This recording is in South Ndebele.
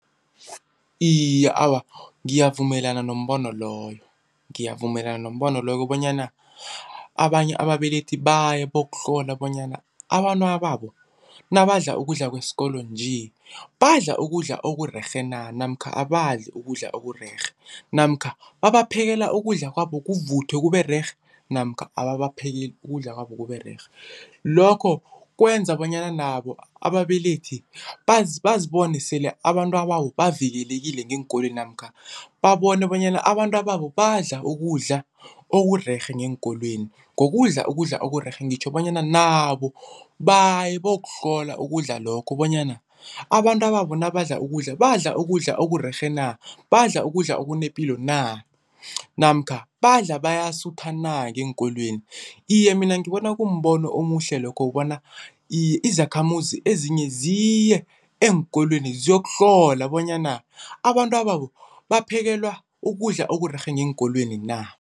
Iye, awa ngiyavumelana nombono loyo. Ngiyavumelana nombono loyo bonyana abanye ababelethi baye bayokuhlola bonyana abantwana babo nabadla ukudla kwesikolo nje, badla ukudla okurerhe na namkha abadlali ukudla okurerhe namkha babaphekele ukudla kwabo kuvuthwe kube rerhe namkha ababaphekeli ukudla kwabo kube rerhe. Lokho kwenza bonyana nabo ababelethi bazibone sele abantwababo bavikelekile ngeenkolweni namkha babone bonyana abantwababo badla ukudla okurerhe ngeenkolweni. Ngokudla ukudla okurerhe ngitjho bonyana nabo baye bayokuhlola ukudla lokho bonyana abantwababo nabadla ukudla badla ukudla okurerhe na, badla ukudla okunepilo na namkha badla bayasutha na ngeenkolweni. Iye mina ngibona kumbono omuhle lokho bona, iye izakhamuzi ezinye ziye eenkolweni ziyokuhlola bonyana abantwababo baphekelwa ukudla okurerhe ngeenkolweni na.